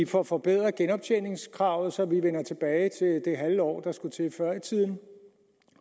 får forbedret genoptjeningskravet så man vender tilbage til det halve år der skulle til før i tiden